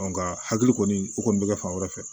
Nka hakili kɔni o kɔni bɛ kɛ fan wɛrɛ fɛ